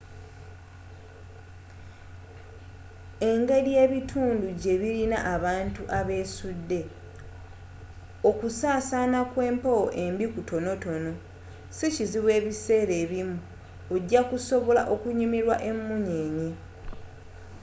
engeri ebitundu gye birina abantu abesudde okusasaana kw'empewo embi okutonotono sikizibu ebiseera ebimu ojja kusobola okunyumirwa emunyeenye